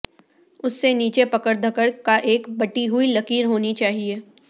اس سے نیچے پکڑ دھکڑ کا ایک بٹی ہوئی لکیر ہونی چاہئے